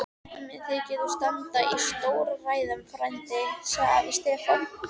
Mér þykir þú standa í stórræðum frændi, sagði afi Stefán.